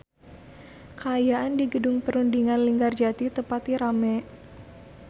Kaayaan di Gedung Perundingan Linggarjati teu pati rame